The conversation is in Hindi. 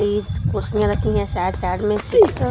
बीस कुर्सीियाँं रखी हैं साइड - साइड में सिक्स --